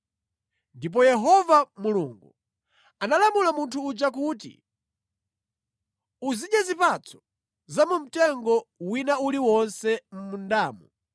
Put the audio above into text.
Ndipo Yehova Mulungu analamula munthu uja kuti, “Uzidya zipatso za mu mtengo wina uliwonse mʼmundamu;